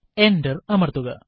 enter അമർത്തുക